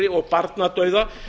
og barnadauða